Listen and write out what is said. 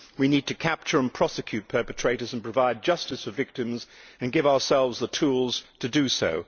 We need to capture and prosecute perpetrators and provide justice for victims, and to give ourselves the tools to do so.